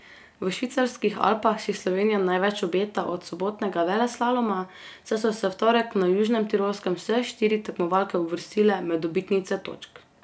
V švicarskih Alpah si Slovenija največ obeta od sobotnega veleslaloma, saj so se v torek na Južnem Tirolskem vse štiri tekmovalke uvrstile med dobitnice točk.